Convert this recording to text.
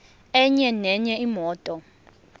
enye nenye imoto